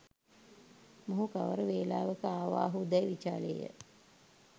මොහු කවර වේලාවක ආවාහු දැයි විචාළේ ය.